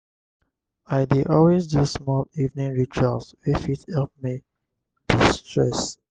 i dey always do small evening rituals wey fit help me de-stress.